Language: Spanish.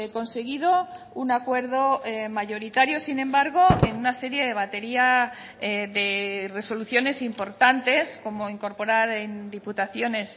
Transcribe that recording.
conseguido un acuerdo mayoritario sin embargo en una serie de batería de resoluciones importantes como incorporar en diputaciones